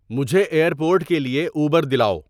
مجھے airport کے لیے اوبر دلاؤ